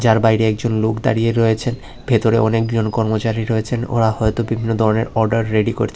আর বাইরে একজন লোক দাঁড়িয়ে রয়েছে ভেতরে অনেকজন কর্মচারী রয়েছেন ওরা হয়তো বিভিন্ন ধরনের অর্ডার রেডি করছে।